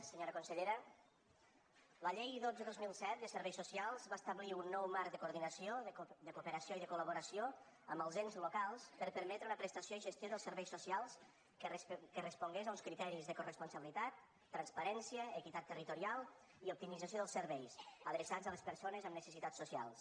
senyora consellera la llei dotze dos mil set de serveis socials va establir un nou marc de coordinació de cooperació i de col·laboració amb els ens locals per a permetre una prestació i gestió dels serveis socials que respongués a uns criteris de coresponsabilitat transparència equitat territorial i optimització dels serveis adreçats a les persones amb necessitats socials